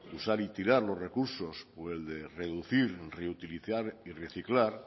usar y tirar los recurso o el de reducir reutilizar y reciclar